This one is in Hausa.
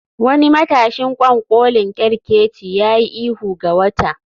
Wani matashin ƙwanƙolin kerkeci ya yi ihu ga wata